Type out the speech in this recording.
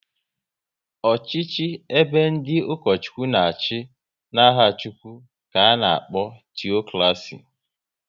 Ọchịchị ebe ndị Ukochukwu na achị n'aha Chukwu ka ana-akpọ teokraci